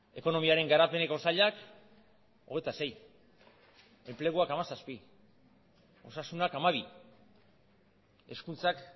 ekonomiaren garapeneko sailak hogeita sei enpleguak hamazazpi osasunak hamabi hezkuntzak